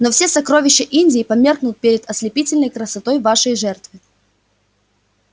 но все сокровища индии померкнут перед ослепительной красотой вашей жертвы